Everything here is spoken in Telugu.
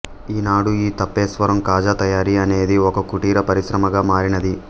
ఈ నాడు ఈ తాపేశ్వరం కాజా తయారీ అనేది ఒక కుటీర పరిశ్రమగా మారినది